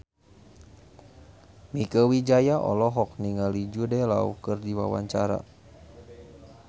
Mieke Wijaya olohok ningali Jude Law keur diwawancara